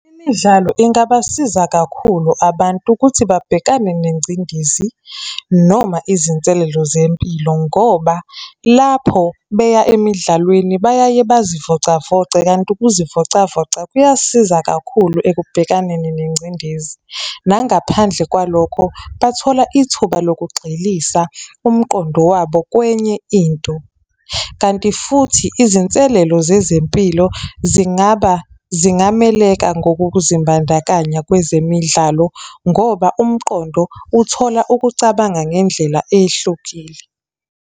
Imidlalo ingabasiza kakhulu abantu ukuthi babhekane nengcindezi noma izinselelo zempilo, ngoba lapho beya emidlalweni bayaye bazivocavoce, kanti ukuzivocavoca kuyasiza kakhulu ekubhekaneni nengcindezi. Nangaphandle kwalokho, bathola ithuba lokugxilisa umqondo wabo kwenye into. Kanti futhi izinselelo zezempilo zingaba, zingameleka ngokuzimbandakanya kwezemidlalo, ngoba umqondo uthola ukucabanga ngendlela eyehlukile.